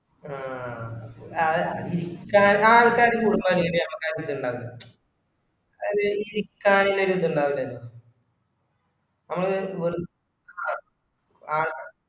ആ അ ചെല ആൾക്കാർക്ക് കോടിക്ക്കാൻവേണ്ടി നമ്മക്ക് ആർക്കും തിന്നണ്ടേ അത് ഈ കാണുന്ന ഒര് ഇത് ഇണ്ടാവൂലെ നമ്മള് വെള് അ അ